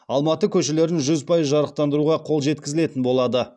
алматы көшелерін жүз пайыз жарықтандыруға қол жеткізілетін болады